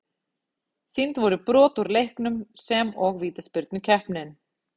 Sýnd voru brot úr leiknum sem og vítaspyrnukeppnin.